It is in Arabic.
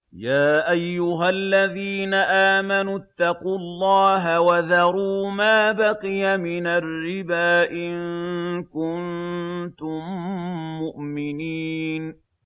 يَا أَيُّهَا الَّذِينَ آمَنُوا اتَّقُوا اللَّهَ وَذَرُوا مَا بَقِيَ مِنَ الرِّبَا إِن كُنتُم مُّؤْمِنِينَ